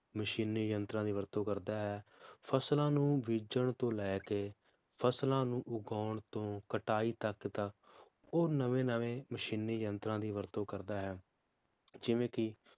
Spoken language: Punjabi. ਮਸ਼ੀਨੀ ਯੰਤਰਾਂ ਦੀ ਵਰਤੋਂ ਕਰਦਾ ਹੈ, ਫਸਲਾਂ ਨੂੰ ਬੀਜਣ ਤੋਂ ਲੈ ਕੇ ਫਸਲਾਂ ਨੂੰ ਉਗਾਉਣ ਤੋਂ ਕਟਾਈ ਤਕ ਦਾ ਉਹ ਨਵੇਂ ਨਵੇਂ ਮਸ਼ੀਨੀ ਯੰਤਰਾਂ ਦੀ ਵਰਤੋਂ ਕਰਦਾ ਹੈ ਜਿਵੇ ਕਿ